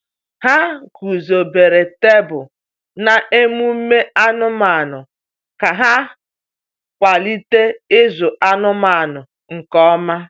Ha guzobere tebụl na emume anụmanụ ka ha kwalite ịzụ anụmanụ nke ọma.